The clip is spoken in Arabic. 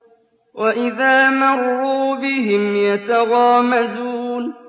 وَإِذَا مَرُّوا بِهِمْ يَتَغَامَزُونَ